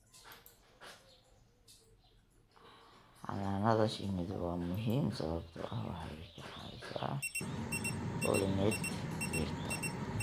Xannaanada shinnidu waa muhiim sababtoo ah waxay ka caawisaa pollinate dhirta.